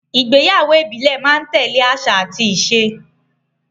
Ìgbéyàwó ìbílẹ̀ máa ń tẹ́lẹ̀ àṣà àti ìṣe